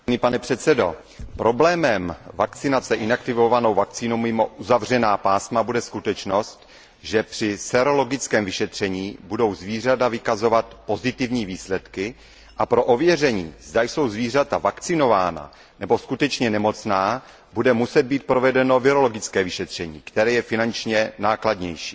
Pane předsedající, problémem vakcinace inaktivovanou vakcínou mimo uzavřená pásma bude skutečnost, že při sérologickém vyšetření budou zvířata vykazovat pozitivní výsledky a pro ověření, zda jsou zvířata vakcinována nebo skutečně nemocná, bude muset být provedeno virologické vyšetření, které je finančně nákladnější.